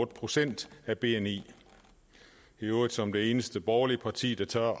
procent af bni i øvrigt som det eneste borgerlige parti der tør